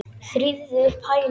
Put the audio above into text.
Þrífðu upp æluna.